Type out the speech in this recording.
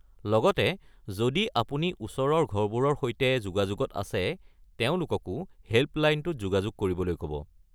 লগতে যদি আপুনি ওচৰৰ ঘৰবোৰৰ সৈতে যোগাযোগত আছে, তেওঁলোককো হেল্পলাইনটোত যোগাযোগ কৰিবলৈ ক'ব।